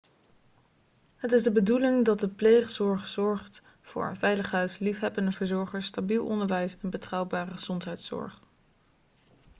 het is de bedoeling dat de pleegzorg zorgt voor een veilig thuis liefhebbende verzorgers stabiel onderwijs en betrouwbare gezondheidszorg